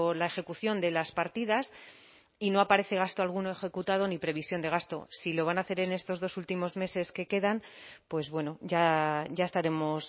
la ejecución de las partidas y no aparece gasto alguno ejecutado ni previsión de gasto si lo van a hacer en estos dos últimos meses que quedan pues bueno ya estaremos